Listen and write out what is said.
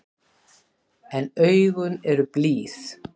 En augun eru blíð.